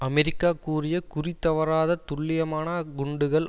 America கூறிய குறி தவறாத துல்லியமான குண்டுகள்